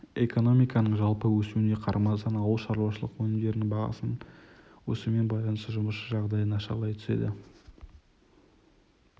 экономиканың жалпы өсуіне қарамастан ауыл шаруашылық өнімдері бағасының өсуімен байланысты жұмысшы жағдайы нашарлай түседі